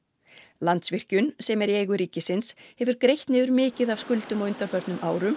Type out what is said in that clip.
Landsvirkjun sem er í eigu ríkisins hefur greitt niður mikið af skuldum á undanförnum árum